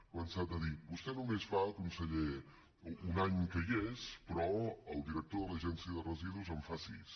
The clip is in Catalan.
ha començat a dir vostè només fa conseller un any que hi és però el director de l’agència de residus en fa sis